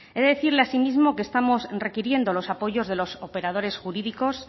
he de decirle asimismo que estamos requiriendo los apoyos de los operadores jurídicos